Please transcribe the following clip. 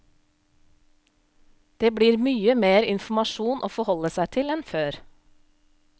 Det blir mye mer informasjon å forholde seg til enn før.